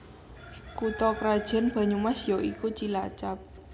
Kutha krajan Banyumas ya iku Cilacap